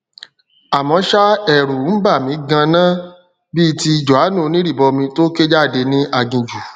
àmọ ṣá ẹrù ń bà mí ganan bíi ti jòhánù onírìbọmi tó ké jáde ní aginjù